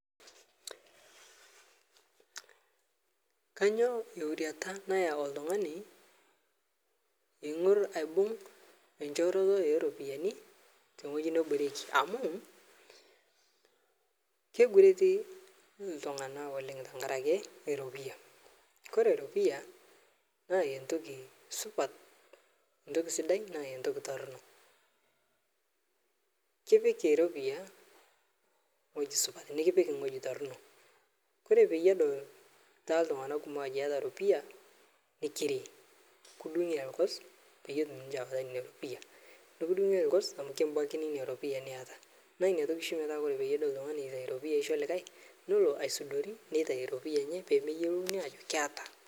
Kainyo euriata nayeu ltungani eigur aibug echooroto eropiyani teng'oji neboreki amu keigureti ltungana oleng tenkaraki eropiya kore ropiya naa entoki supat ntoki sidai naa ntoki tornoo, kipik eropiya ng'oji supat nikipik ng'oji tornoo kore payie edol ltunganak ajo iyata ropiya nikiri kidungi elgos payie etum ninche awata nenia ropiya, nikidungi elgos amu kibakini inia ropiya niata naa niatoki shii kore ltungani teneitai ropiya aisho likae nulo aisudori netai ropiya enye pemeyolouni ajo keata.